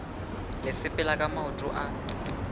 le sepela ka maoto a